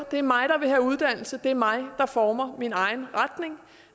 det er mig der vil have uddannelse det er mig der former min egen retning